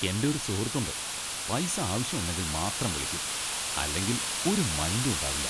എൻ്റെ ഒരു സുഹൃത്ത് ഉണ്ട്, പൈസ ആവശ്യം ഉണ്ടെങ്കിൽ മാത്രം വിളിക്കും, അല്ലെങ്കിൽ ഒരു മൈൻഡും ഉണ്ടാവില്ല.